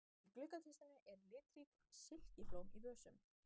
Í gluggakistunni eru litrík silkiblóm í vösum.